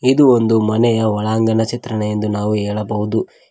ಇದು ಒಂದು ಮನೆಯ ಒಳಾಂಗಣ ಚಿತ್ರಣ ಎಂದು ನಾವು ಹೇಳಬಹುದು.